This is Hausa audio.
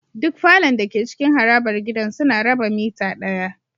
Duk falon dake cikin harabar gidan suna raba mitter daya